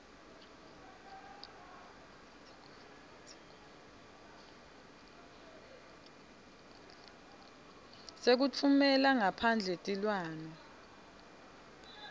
sekutfumela ngaphandle tilwane